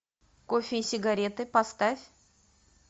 кофе и сигареты поставь